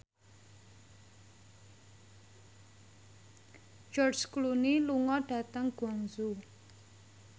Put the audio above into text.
George Clooney lunga dhateng Guangzhou